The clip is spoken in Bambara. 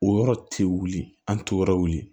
O yɔrɔ tɛ wuli an tɛ yɔrɔ wuli